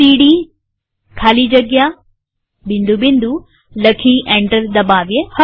હવે પેરેન્ટ ડિરેક્ટરીમાં જવા સીડી ખાલી જગ્યા લખી એન્ટર દબાવીએ